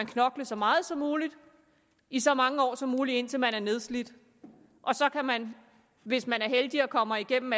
knokle så meget som muligt i så mange år som muligt indtil man er nedslidt og så kan man hvis man er heldig og kommer igennem